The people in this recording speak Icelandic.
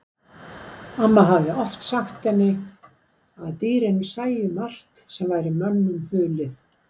Amma hafði oft sagt henni að dýrin sæju margt sem væri mönnunum hulið.